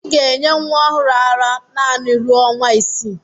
Ị ga-enye nwa ọhụrụ ara ara naanị ruo ọnwa isii